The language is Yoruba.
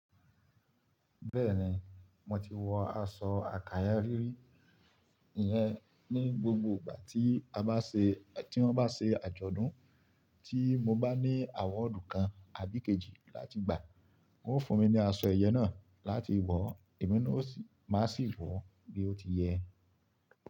Bẹ́ẹ̀ni, mo ti wọ aṣọ àkáyà rírí iyẹn ní gbogbo ìgbà tí a bá ṣe, tí wọ́n bá ṣe àjọ̀dún. Tí mo bá ní ebun ola kan àbí kejì láti gbà, wọn ó fún mi ní aṣọ ìyẹ́ náà láti wọ̀, èmi ni ó sì má sì wọ̀ bí ó ti yẹ.